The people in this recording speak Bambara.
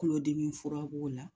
Kulodimi fura b'o la